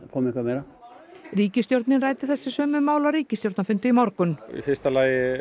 komi eitthvað meira ríkisstjórnin ræddi þessi sömu mál á ríkisstjórnarfundi í morgun í fyrsta lagi